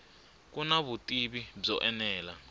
ku na vutivi byo enela